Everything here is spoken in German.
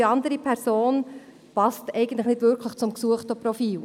Die andere passt eigentlich nicht wirklich auf das gesuchte Profil.